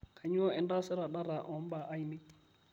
kainyoo intaasita data o mbaa ainei